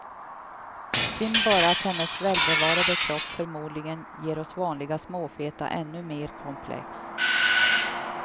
Synd bara att hennes välbevarade kropp förmodligen ger oss vanliga småfeta ännu mer komplex.